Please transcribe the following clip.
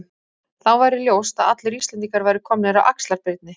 Þá væri ljóst að allir Íslendingar væru komnir af Axlar-Birni.